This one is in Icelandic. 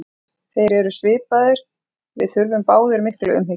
Við erum svipaðir, við þurfum báðir mikla umhyggju.